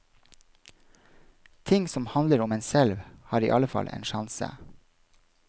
Ting som handler om en selv, har iallfall en sjanse.